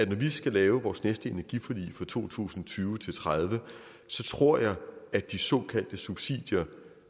vi skal lave vores næste energiforlig for to tusind og tyve til tredive så tror jeg at de såkaldte subsidier